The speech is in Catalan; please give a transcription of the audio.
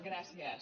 gràcies